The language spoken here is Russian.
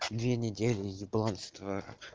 две недели ебланства